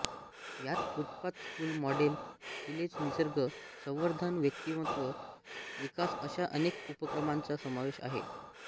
यात footpath school model village निसर्ग संवर्धन व्यक्तीमत्व विकास अशा अनेक उपक्रमांचा समावेश आहे